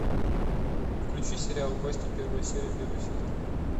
включи сериал кости первая серия первый сезон